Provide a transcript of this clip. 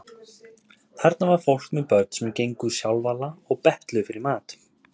Þarna var fólk með börn sem gengu sjálfala og betluðu fyrir mat.